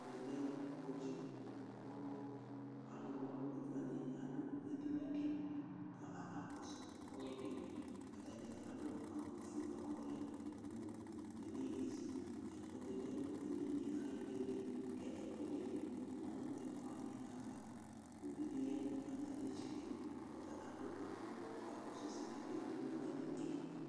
Ɛmɛ lɛ kɔdzɩ kʋ alʋna ɔlʋ kotsu wanɩ adʋ edini dɩ kʋ akakɔsʋ ɔlɔdɩ Ata dza adʋ awʋfue bʋa kʋ ɔlɛ gblu beli ezi Ɛkplɔ dɩ lɛ nʋ edini yɛ ayʋ ɩɩlɩ ɩɩlɩ kʋ ɛkʋɛdɩnɩ ma nʋ ɛkplɔ wanɩ ava Uvi dɩ ya nʋ atamɩ ɩtsɛdɩ kʋ ɔta adʋ awʋwɛ kʋ ɔkakɔsʋ ɛsɛ yɛ kʋ akewle nʋ edini yɛ